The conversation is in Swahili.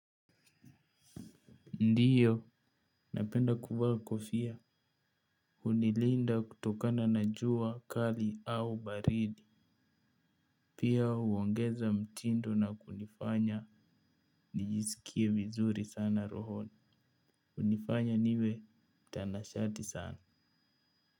Ndio, napenda kuvaa kofia. Hunilinda kutokana na jua kali au baridi. Pia huongeza mtindo na kunifanya nijisikie vizuri sana rohoni. Hunifanya niwe mtanashati sana.